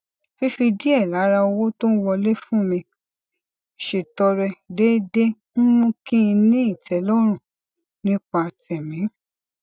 fífi díè lára owó tó ń wọlé fún mi ṣètọrẹ déédéé ń mú kí n ní ìtélórùn nípa tèmí